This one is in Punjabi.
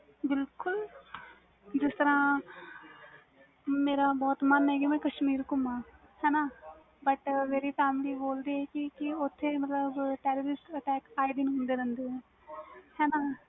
ਬਿਲਕੁਲ ਜਿਸ ਤਰਾਂ ਮੇਰਾ ਬਹੁਤ ਮਨ ਏ ਕਿ ਮਈ ਕਸ਼ਮੀਰ ਗੁਮਾਂ ਹਨ ਮੇਰੀ family ਬੋਲਦੀ ਵ ਕਿ ਓਥੇ ਮਤਬਲ Terrorist attack ਹੁੰਦੇ ਰਹਦੇ ਵ